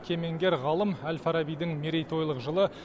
кемеңгер ғалым әл фарабидің мерейтойлық жылы